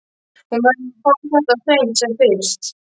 Hún verður að fá þetta á hreint sem fyrst.